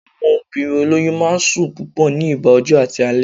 Àwọn obìnrin olóyún máa n sùn púpọ̀ ní nígbà ọjọ́ àti alẹ́